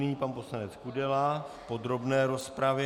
Nyní pan poslanec Kudela v podrobné rozpravě.